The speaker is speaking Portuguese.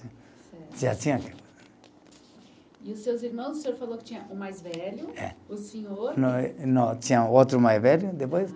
E os seus irmãos, o senhor falou que tinha o mais velho, o senhor. Não, não, tinha outro mais velho, depois